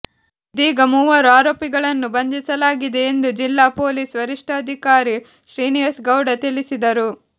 ಇದೀಗ ಮೂವರು ಆರೋಪಿಗಳನ್ನು ಬಂಧಿಸಲಾಗಿದೆ ಎಂದು ಜಿಲ್ಲಾ ಪೊಲೀಸ್ ವರಿಷ್ಠಾಧಿಕಾರಿ ಶ್ರೀನಿವಾಸ್ ಗೌಡ ತಿಳಿಸಿದರು